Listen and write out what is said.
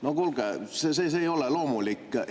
No kuulge, see ei ole loomulik!